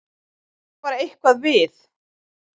En það var eitthvað við